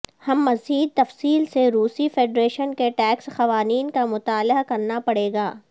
ہم مزید تفصیل سے روسی فیڈریشن کے ٹیکس قوانین کا مطالعہ کرنا پڑے گا